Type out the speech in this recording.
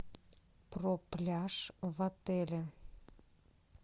про пляж в отеле